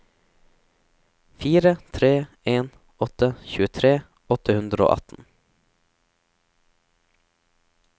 fire tre en åtte tjuetre åtte hundre og atten